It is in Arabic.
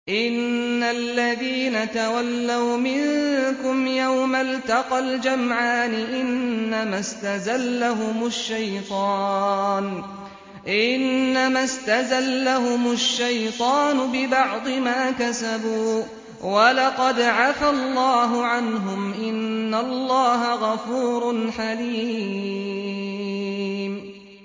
إِنَّ الَّذِينَ تَوَلَّوْا مِنكُمْ يَوْمَ الْتَقَى الْجَمْعَانِ إِنَّمَا اسْتَزَلَّهُمُ الشَّيْطَانُ بِبَعْضِ مَا كَسَبُوا ۖ وَلَقَدْ عَفَا اللَّهُ عَنْهُمْ ۗ إِنَّ اللَّهَ غَفُورٌ حَلِيمٌ